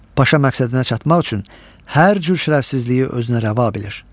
Paşa məqsədinə çatmaq üçün hər cür şərəfsizliyi özünə rəva bilir.